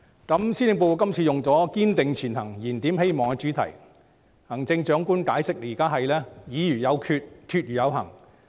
今次施政報告以"堅定前行燃點希望"為主題，行政長官解釋現在是時候"議而有決、決而有行"。